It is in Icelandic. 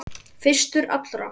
Fyrstur allra.